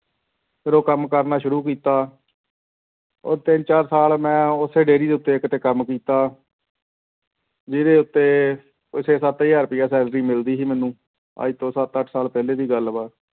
ਫਿਰ ਉਹ ਕੰਮ ਕਰਨਾ ਸ਼ੁਰੂ ਕੀਤਾ ਉਹ ਤਿੰਨ ਚਾਰ ਸਾਲ ਮੈਂ ਉੱਥੇ dairy ਦੇ ਉੱਤੇ ਕਿਤੇ ਕੰਮ ਕੀਤਾ ਜਿਹਦੇ ਉੱਤੇ ਉਹ ਛੇ ਸੱਤ ਹਜ਼ਾਰ ਰੁਪਇਆ salary ਮਿਲਦੀ ਸੀ ਮੈਨੂੰ ਅੱਜ ਤੋਂ ਸੱਤ ਅੱਠ ਸਾਲ ਪਹਿਲੇ ਦੀ ਗੱਲ ਵਾ।